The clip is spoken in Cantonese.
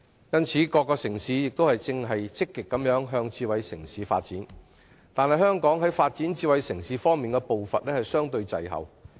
因此，各城市現在均積極朝着智慧城市方向發展，但香港在發展智慧城市的步伐卻相對滯後。